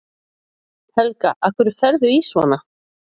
Helga: Af hverju ferðu í svona?